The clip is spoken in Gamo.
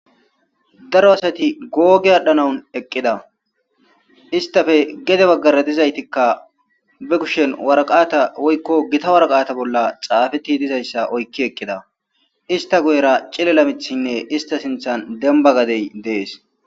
Daro asati googi aadhanawn eqqida istappe gede baggara dizaytikka be kushen waraqaata woyko gita waraqaata bolla xaafeti dizayssa oyki eqqida ista guyera cilil'o mithine ista sinthen demba gadey dees.